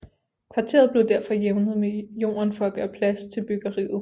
Kvarteret blev derfor jævnet med jorden for at gøre plads til byggeriet